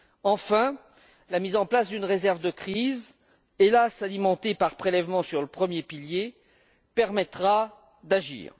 Enfin, la mise en place d'une réserve de crise, hélas alimentée par prélèvement sur le premier pilier, nous permettra d'agir.